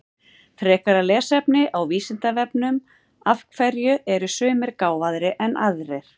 Frekara lesefni á Vísindavefnum Af hverju eru sumir gáfaðri en aðrir?